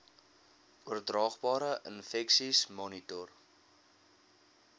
oordraagbare infeksies monitor